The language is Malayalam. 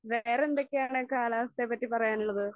വേറെ എന്തൊക്കെയാണ് കാലാവസ്ഥയെ പറ്റി പറയാനുള്ളത്?